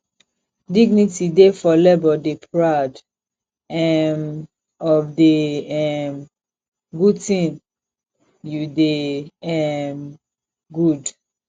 dignity dey for labour dey proud um of di um good thing you de um good